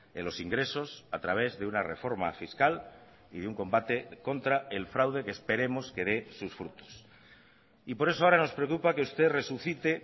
en los ingresos a través de una reforma fiscal y de un combate contra el fraude que esperemos que dé sus frutos y por eso ahora nos preocupa que usted resucite